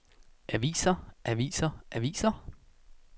aviser aviser aviser